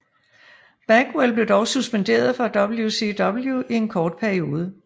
Bagwell blev dog suspenderet fra WCW i en kort periode